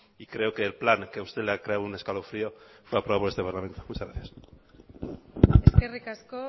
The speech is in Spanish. y creo que el plan que a usted le ha creado un escalofrío fue aprobado por este parlamento muchas gracias eskerrik asko